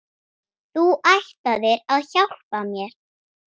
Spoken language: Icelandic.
Þú ætlaðir að hjálpa mér.